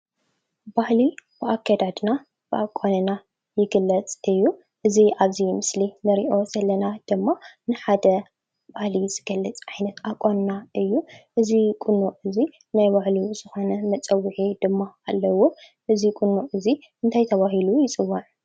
ባህሊ ብኣከዳድና ብኣቋንና ይግለፅ እዩ፡፡ እዚ ኣብዚ ምስሊ ንሪኦ ዘለና ድማ ንሓደ ባህሊ ዝገልፅ ባህልን ቁኖ እዩ፡፡ እዚ ቁኖ እዚ ናይ ባዕሉ ዝኾነ መፀውዒ ድማ ኣለዎ፡፡ እዚ ቁኖ እዚ እንታይ ተባሂሉ ይፅዋዕ?